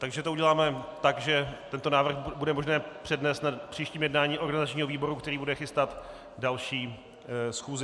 Takže to uděláme tak, že tento návrh bude možné přednést na příštím jednání organizačního výboru, který bude chystat další schůzi.